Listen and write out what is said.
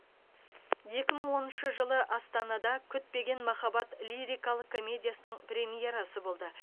екі мың оныншы жылы астанада күтпеген махаббат лирикалық комедиясының премьерасы болды